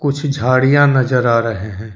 कुछ झाड़ियां नजर आ रहे हैं।